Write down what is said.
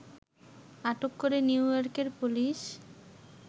আটক করে নিউ ইয়র্কের পুলিশ